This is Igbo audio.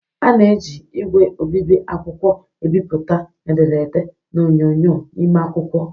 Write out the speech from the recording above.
A na-eji ígwè obibi akwụkwọ ebipụta ederede na onyonyo n'ime akwụkwọ.